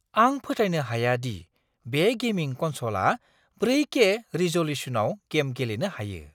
आं फोथायनो हाया दि बे गेमिं कनस'लआ 4के रिज'ल्युसनआव गेम गेलेनो हायो!